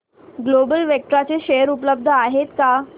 global Vectra चे share उपलब्ध आहेत का